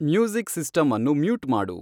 music system ಅನ್ನು mute ಮಾಡು